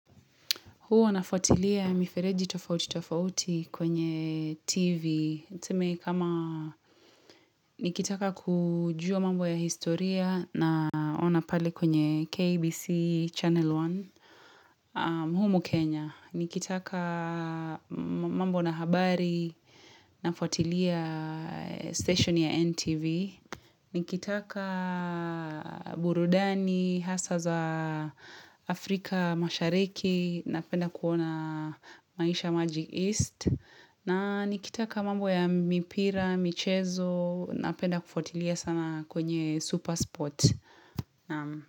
Huwa nafuatilia mifereji tofauti tofauti kwenye TV. Tuseme kama nikitaka kujua mambo ya historia naona pale kwenye KBC Channel One humu Kenya. Nikitaka mambo na habari nafuatilia station ya NTV. Nikitaka burudani, hasa za Afrika mashariki, napenda kuona maisha Magic East. Na nikitaka mambo ya mipira, michezo, napenda kufuatilia sana kwenye super spot.